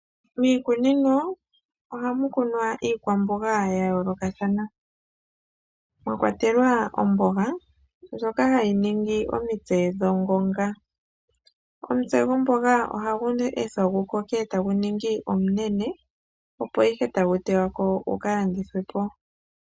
Miikunino oha mu kunwa iikwamboga ya yoolokathana, mwakwatelwa omboga ndjoka ha yi ningi omitse gwongonga. Omutse gwomboga oha gu ethwa gu koke ta gu ningi omunene opo ihe ta gu teywa ko guka landithwe po.